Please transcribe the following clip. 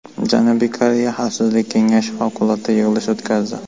Janubiy Koreya Xavfsizlik Kengashi favqulodda yig‘ilish o‘tkazdi.